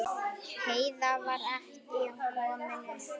Heiða var ekki komin upp.